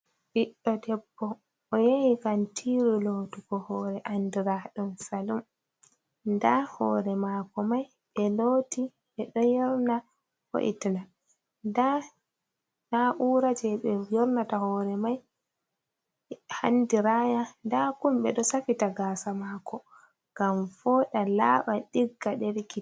Biɗɗo debbo oyahiyi kantiru lotugo hore andiraɗum salum. da hore mako mai be loti be do yorna voitna da naura je be yornata hore mai handiraya da kumb do safita gasa mako gam foɗa laba digga delkita.